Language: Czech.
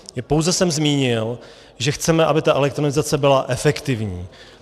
Pouze jsem zmínil, že chceme, aby ta elektronizace byla efektivní.